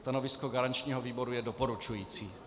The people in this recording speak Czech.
Stanovisko garančního výboru je doporučující.